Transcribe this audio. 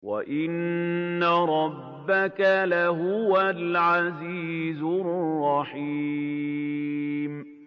وَإِنَّ رَبَّكَ لَهُوَ الْعَزِيزُ الرَّحِيمُ